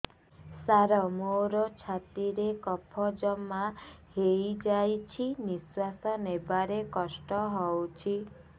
ସାର ମୋର ଛାତି ରେ କଫ ଜମା ହେଇଯାଇଛି ନିଶ୍ୱାସ ନେବାରେ କଷ୍ଟ ହଉଛି